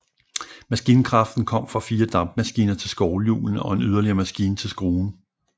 Maskinkraften kom fra fire dampmaskiner til skovlhjulene og en yderligere maskine til skruen